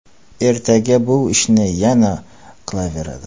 Ertaga bu ishni yana qilaveradi.